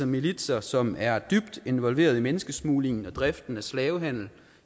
militser som er dybt involveret i menneskesmuglingen og driften af slavehandel